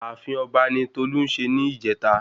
Ààfin ọba ni tolú se ni ìjeta